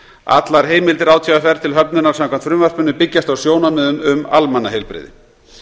allar heimildir átvr til höfnunar samkvæmt frumvarpinu byggjast á sjónarmiðum um almannaheilbrigði